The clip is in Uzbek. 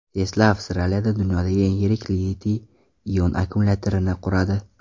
Tesla Avstraliyada dunyodagi eng yirik litiy-ion akkumulyatorini quradi.